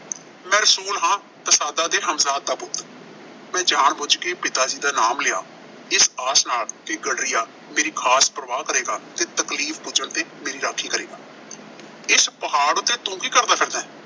ਮੈਂ ਰਸੂਲ ਹਾਂ, ਤਸਾਦਾਂ ਦੇ ਹਮਜਾਦ ਦਾ ਪੁੱਤ। ਮੈਂ ਜਾਣਬੁੱਛ ਕੇ ਪਿਤਾ ਜੀ ਦਾ ਨਾਮ ਲਿਆ। ਇਸ ਆਸ ਨਾਲ ਕਿ ਗਡਰੀਆ ਮੇਰੀ ਖਾਸ ਪਰਵਾਹ ਕਰੇਗਾ ਤੇ ਤਕਲੀਫ਼ ਪੁੱਜਣ ਤੇ ਮੇਰੀ ਰਾਖੀ ਕਰੇਗਾ। ਇਸ ਪਹਾੜ ਉੱਤੇ ਤੂੰ ਕੀ ਕਰਦਾ ਫਿਰਦੈਂ?